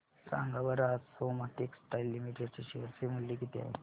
सांगा बरं आज सोमा टेक्सटाइल लिमिटेड चे शेअर चे मूल्य किती आहे